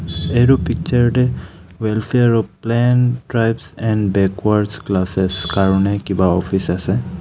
এইটো পিকচাৰতে welfare plain tribes and backwards classes কাৰণে কিবা অফিচ আছে।